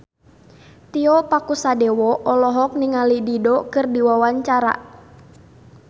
Tio Pakusadewo olohok ningali Dido keur diwawancara